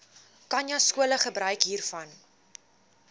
khanyaskole gebruik hiervan